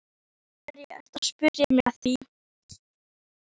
Af hverju ertu að spyrja mig að því?